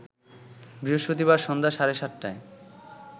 বৃহস্পতিবার সন্ধ্যা সাড়ে ৭টায়